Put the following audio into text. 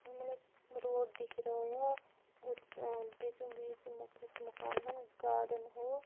ई मतलब रोड दिख रहा है उत अ बीचो बीच मैं कुछ मकान है गार्डन है।